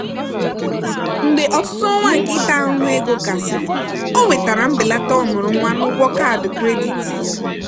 mgbe ọtụtụ ọnwa nke ịta ahụhụ ego gasịrị o nwetara mbelata ọmụrụnwa n'ụgwọ kaadị kredit ya.